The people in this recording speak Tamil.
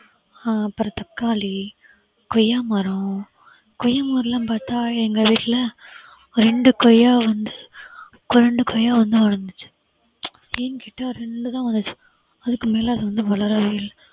ஆஹ் அப்புறம் தக்காளி, கொய்யா மரம், கொய்யா மரம் எல்லாம் பார்த்தா எங்க வீட்ல ரெண்டு கொய்யா வந்து ரெண்டு கொய்யா வந்து வளர்ந்துச்சு ஏன் கேட்டா ரெண்டு தான் வளர்ந்துச்சு அதுக்கு மேல அது வந்து வளரவே இல்லை